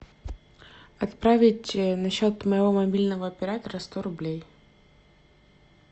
отправить на счет моего мобильного оператора сто рублей